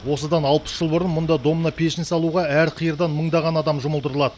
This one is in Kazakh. осыдан алпыс жыл бұрын мұнда домна пешін салуға әр қиырдан мыңдаған адам жұмылдырылады